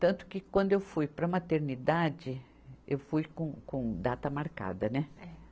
Tanto que quando eu fui para a maternidade, eu fui com, com data marcada, né? É